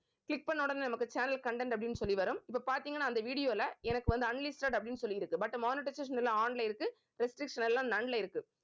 click பண்ண உடனே நமக்கு channel content அப்படின்னு சொல்லி வரும். இப்ப பார்த்தீங்கன்னா அந்த video ல எனக்கு வந்து unlisted அப்படின்னு சொல்லி இருக்கு but monetization on ல இருக்கு restriction எல்லாம் none ல இருக்கு.